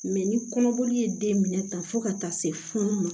ni kɔnɔboli ye den minɛ tan fo ka taa se funu ma